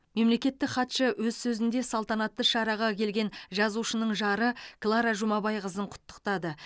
мемлекеттік хатшы өз сөзінде салтанатты шараға келген жазушының жары клара жұмабайқызын құттықтады